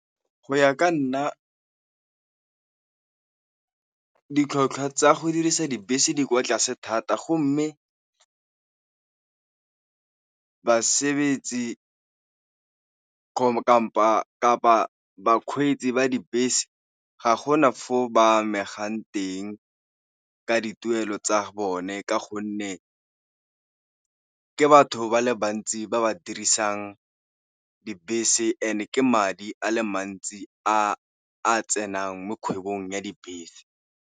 Go ya ka nna ditlhotlhwa tsa go dirisa dibese di kwa tlase thata, go mme basebetsi kapa bakgweetsi ba dibese ga gona fo ba amegang teng ka dituelo tsa bone ka gonne ke batho ba le bantsi ba ba dirisang dibese and-e ke madi a le mantsi a tsenang mo kgwebong ya dibese.